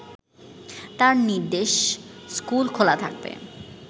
তাঁর নির্দেশ স্কুল খোলা থাকবে